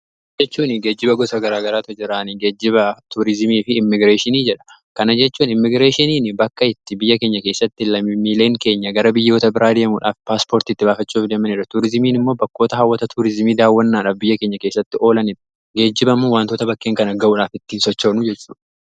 geejjiba jechuun geejjiba gosa garaa garaatu jira isaanis geejjiba tuurizimii fi immigireeshinii jedhamu. Kana jechuun immigireeshiniin bakka itti biyya keenya keessatti lammiileen keenya gara biyyoota biraa deemuudhaaf paaspoortiitti baafachuuf deman. Tuurizimiin immoo bakkoota hawwata tuurizimii daawwannaadhaaf biyya keenya keessatti oolanin geejjibamuu wantoota bakkeen kana ga'uudhaaf ittiin sochoonu jechudha.